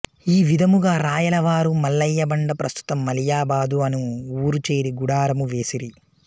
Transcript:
ఈవిధముగా రాయలవారు మల్లయ్యబండ ప్రస్తుత మలియాబాదు అను ఊరు చేరి గుడారము వేసిరి